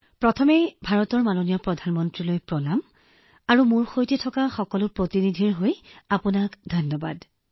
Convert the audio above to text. বিশাখা জীঃ প্ৰথমে ভাৰতৰ মাননীয় প্ৰধানমন্ত্ৰীলৈ মোৰ প্ৰণাম আৰু ইয়াৰ লগতে সকলো প্ৰতিনিধিৰ হৈ অশেষ প্ৰণাম জনাইছো